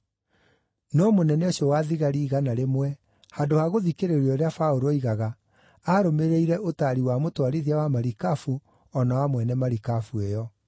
No mũnene ũcio wa thigari igana rĩmwe, handũ ha gũthikĩrĩria ũrĩa Paũlũ oigaga, aarũmĩrĩire ũtaari wa mũtwarithia wa marikabu o na wa mwene marikabu ĩyo.